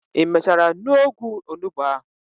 I mechara nuo ogwu onugbu ahu?